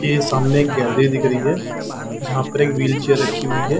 ये सामने एक गैलरी दिख रही है जहाँ पर एक व्हिलचेर रखी हुई हैं ।